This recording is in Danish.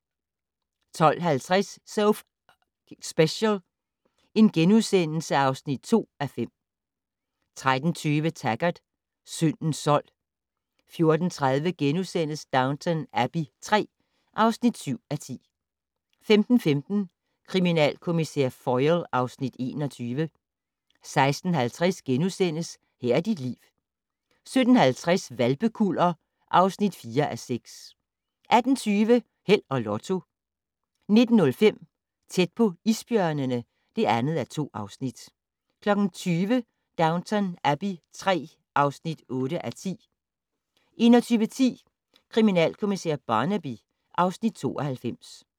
12:50: So F***ing Special (2:5)* 13:20: Taggart: Syndens sold 14:30: Downton Abbey III (7:10)* 15:15: Kriminalkommissær Foyle (Afs. 21) 16:50: Her er dit liv * 17:50: Hvalpekuller (4:6) 18:20: Held og Lotto 19:05: Tæt på isbjørnene (2:2) 20:00: Downton Abbey III (8:10) 21:10: Kriminalkommissær Barnaby (Afs. 92)